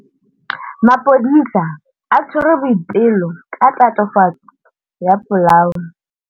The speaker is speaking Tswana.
Maphodisa a tshwere Boipelo ka tatofatsô ya polaô.